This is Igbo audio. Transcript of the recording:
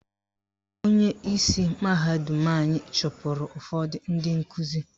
Onyeisi mahadum anyị chụpụrụ ụfọdụ ndị nkuzi